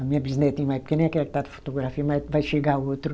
A minha bisnetinha mais pequena é aquela que está na fotografia, mas vai chegar outro.